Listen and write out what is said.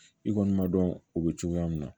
I kɔni ma dɔn o bɛ cogoya min na